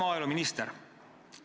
Hää maaeluminister!